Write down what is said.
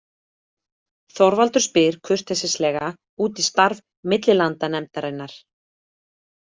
Þorvaldur spyr kurteislega út í starf millilandanefndarinnar.